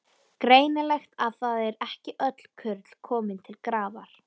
Greinilegt að það eru ekki öll kurl komin til grafar!